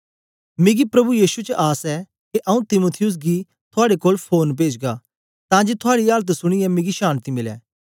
मिकी प्रभु यीशु च आस ऐ के आऊँ तीमुथियुस गी थुआड़े कोल फोरन पेजगा तां जे थुआड़ी आलत सुनीयै मिकी शान्ति मिलै